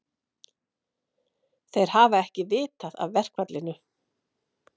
Þeir hafi ekki vitað af verkfallinu